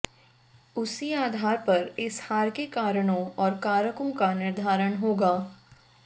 उसी आधार पर इस हार के कारणों और कारकों का निर्धारण होगा